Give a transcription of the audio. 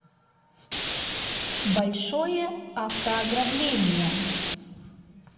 большое автоограбление